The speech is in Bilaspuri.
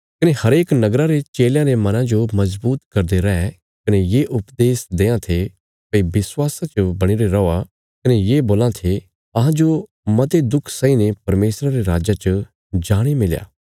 कने हरेक नगरा रे चेलयां रे मना जो मजबूत करदे रहे कने ये उपदेश देआं थे भई विश्वासा च बणीरे रौआ कने ये बोलां थे अहांजो मते दुख सहीने परमेशरा रे राज्जा च जाणे मिलणा